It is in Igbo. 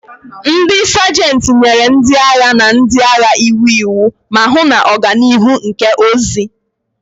Ndị Sajentị nyere ndị agha na ndị agha iwu iwu, ma hụ na oganihu nke ozi.